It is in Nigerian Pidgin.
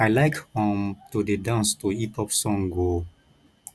i like um to dey dance to hip hop song o